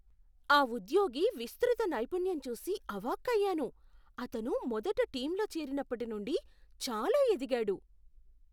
ఆ ఉద్యోగి విస్తృత నైపుణ్యం చూసి అవాక్కయ్యాను. అతను మొదట టీంలో చేరినప్పటి నుండి చాలా ఎదిగాడు.